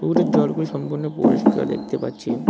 নদীর জলগুলি সম্পূর্ণ পরিষ্কার দেখতে পাচ্ছি।